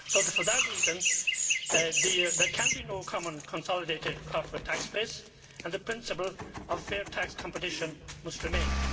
For that reason, there can be no common consolidated corporate tax base, and the principle of fair tax competition must remain.